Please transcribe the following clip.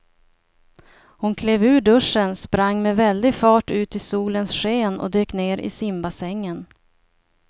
Hon klev ur duschen, sprang med väldig fart ut i solens sken och dök ner i simbassängen.